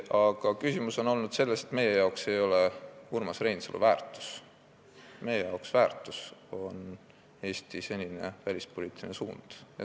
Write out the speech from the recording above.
Aga küsimus on olnud selles, et meile ei ole väärtus Urmas Reinsalu, meile on väärtus Eesti senine välispoliitiline suund.